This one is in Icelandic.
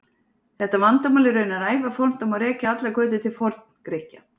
Þetta vandamál er raunar ævafornt og má rekja allar götur til Forngrikkja.